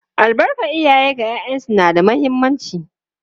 Albarkar iyaye ga ’ya’yansu na da muhimmanci.